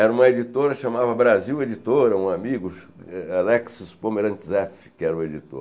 Era uma editora, chamava Brasil Editora, um amigo, Alexis Pomerantzeff, que era o editor.